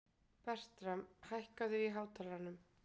Bertram, hækkaðu í hátalaranum.